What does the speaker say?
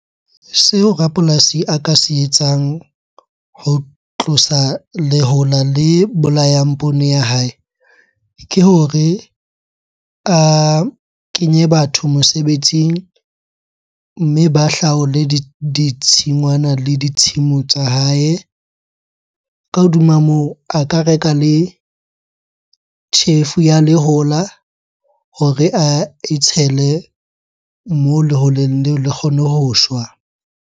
Seo rapolasi a ka se etsang ho tlosa lehola le bolayang poone ya hae, ke hore a kenye batho mosebetsing mme ba hlaole ditshingwana le ditshimo tsa hae. Ka hodima moo, a ka reka le tjhefu ya lehola hore ae tshele moo leholeng leo le kgone ho shwa.